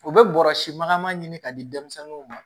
U bɛ bɔrɔsi makama ɲini ka di denmisɛnninw ma